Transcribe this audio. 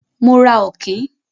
Mo ra Ọ̀kín.